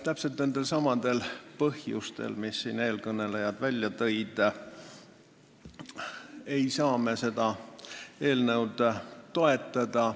Täpselt nendelsamadel põhjustel, mis eelkõnelejad välja tõid, ei saa me seda eelnõu toetada.